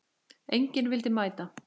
Enginn vildi mæta.